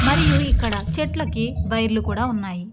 మరియు ఇక్కడ చెట్లకి బయలు కూడా ఉన్నాయి.